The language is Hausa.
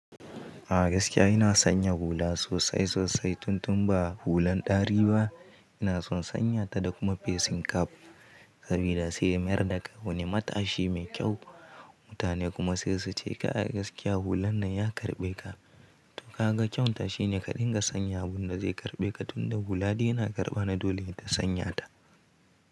A gaskiya ina sonya hula sosai sosai tun tun ba hulan ɗari ba. Ina son sanyata da kuma facing cap sabida sai mayar da ka wani matashi mai kyau. Mutane kuma sai su ce ka a gaskiya hulan nan ya karɓe ka. To ka ga kyauta shi ne ka dinga sanya abun da zai karɓe ka tun da hula dai yana karɓana dole ita sanyata.